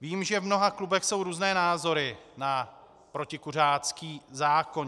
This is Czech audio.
Vím, že v mnoha klubech jsou různé názory na protikuřácký zákon.